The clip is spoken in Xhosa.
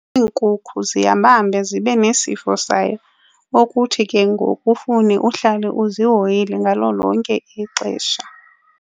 Iinkukhu zihambahambe zibe nesifo sayo okuthi ke ngoku kufune uhlale uzihoyile ngalo lonke ixesha.